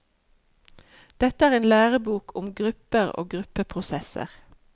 Dette er en lærebok om grupper og gruppeprosesser.